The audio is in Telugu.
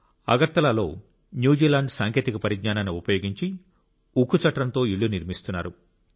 అగర్తలలో న్యూజిలాండ్ సాంకేతిక పరిజ్ఞానాన్ని ఉపయోగించి ఉక్కు చట్రంతో ఇళ్ళు నిర్మిస్తున్నారు